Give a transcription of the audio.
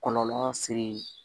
Kɔlɔlɔ seri